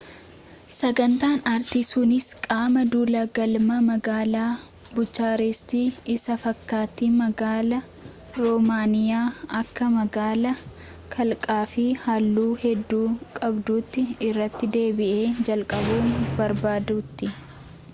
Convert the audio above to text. sagantaan artii sunis qaama duula galma magaalaa buchaarestii isa fakkaattii magaalaa romaaniyaa akka magaalaa kalaqaafi halluu hedduu qabduutti irra deebi'ee jalqabuu barbaaduuti